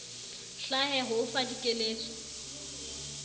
hlahe ho o fa dikeletso